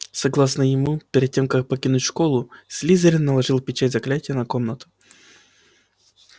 согласно ему перед тем как покинуть школу слизерин наложил печать заклятия на комнату